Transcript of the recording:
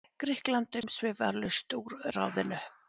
Grikkland umsvifalaust úr ráðinu.